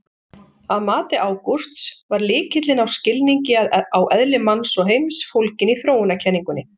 Að mati Ágústs var lykilinn að skilningi á eðli manns og heims fólginn í þróunarkenningunni.